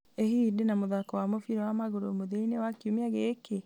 ĩ hihi ndĩna mũthako wa mũbira wa magũrũ mũthia-inĩ wa kiumia gĩkĩ